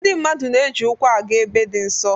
Ndị mmadụ na-eji ụkwụ aga ebe dị nso